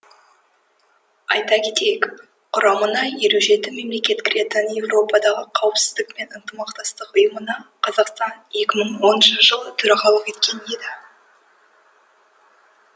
айта кетейік құрамына елу жеті мемлекет кіретін еуропадағы қауіпсіздік пен ынтымақтастық ұйымына қазақстан екі мың оныншы жылы төрағалық еткен еді